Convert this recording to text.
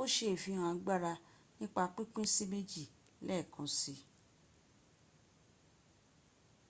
o se ifihan agbara nipa pinpin si meji leekansi